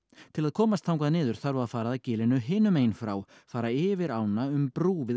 til að komast þangað niður þarf að fara að gilinu hinum megin frá fara yfir ána um brú við